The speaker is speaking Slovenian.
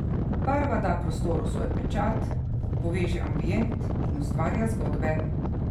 Barva da prostoru svoj pečat, poveže ambient in ustvarja zgodbe.